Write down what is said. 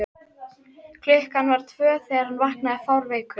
klukkan var tvö þegar hann vaknaði fárveikur.